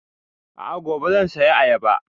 A'a gobe zan saya ayaba